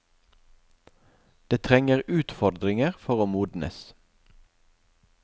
Det trenger utfordringer for å modnes.